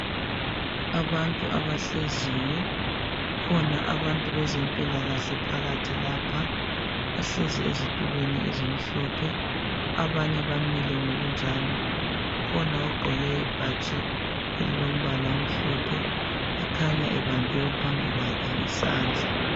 Abantu abahleziyo kukhona abantu abezempilakahle phakathi lapha bahlezi ezitulweni ezimhlophe abanye bamile ngokunjalo ukhona ogqoke ibhatshi elombala omhlophe ekhanya ebambe ophambi kwakhe isandla.